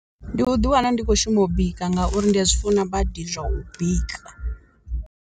Ndi u ḓi wana ndi kho shuma u bika ngauri ndi a zwi funa badi zwa u bika.